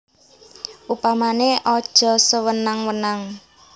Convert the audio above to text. Upamané aja sewenang wenang